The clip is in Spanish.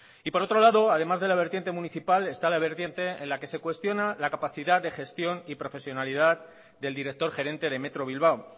y por otro lado además de la vertiente municipal está la vertiente en la que se cuestiona la capacidad de gestión y profesionalidad del director gerente de metro bilbao